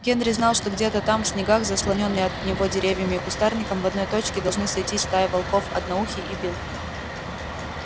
генри знал что где-то там в снегах заслонённые от него деревьями и кустарником в одной точке должны сойтись стая волков одноухий и билл